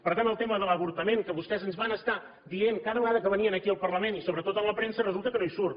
per tant el tema de l’avortament que vostès ens van estar dient cada vegada que venien aquí al parlament i sobretot a la premsa resulta que no hi surt